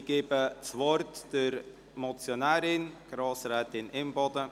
Ich gebe das Wort der Motionärin, Grossrätin Imboden.